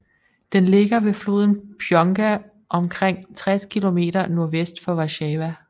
Den ligger ved floden Płonka omkring 60 kilometer nordvest for Warszawa